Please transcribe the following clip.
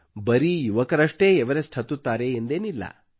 ಬರೀ ಯುವಕರಷ್ಟೇ ಎವರೆಸ್ಟ್ ಹತ್ತುತ್ತಾರೆ ಎಂದೇನಿಲ್ಲ